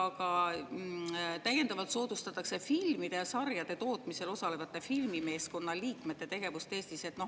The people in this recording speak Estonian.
Ja ka täiendavalt soodustatakse filmide ja sarjade tootmisel osalevate filmimeeskondade liikmete tegevust Eestis.